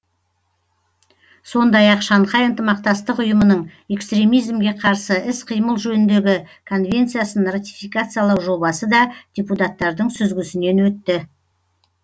сондай ақ шанхай ынтымақтастық ұйымының экстремизмге қарсы іс қимыл жөніндегі конвенциясын ратификациялау жобасы да депутаттардың сүзгісінен өтті